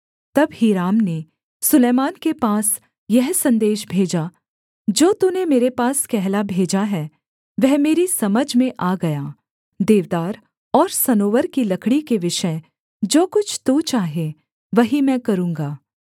तब हीराम ने सुलैमान के पास यह सन्देश भेजा जो तूने मेरे पास कहला भेजा है वह मेरी समझ में आ गया देवदार और सनोवर की लकड़ी के विषय जो कुछ तू चाहे वही मैं करूँगा